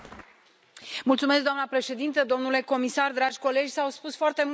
Doamnă președintă, domnule comisar, dragi colegi, s au spus foarte multe lucruri aici.